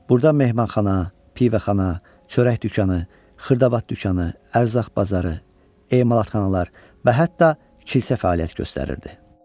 Burda mehmanxana, pivəxana, çörək dükanı, xırdavat dükanı, ərzaq bazarı, emalatxanalar və hətta kilsə fəaliyyət göstərirdi.